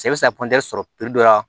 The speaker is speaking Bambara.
Se bɛ se ka sɔrɔ dɔ la